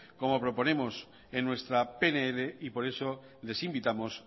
como proponemos en nuestra pnl y por eso les invitamos